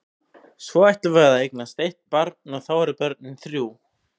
Svo ætlum við að eignast eitt barn og þá eru börnin þrjú.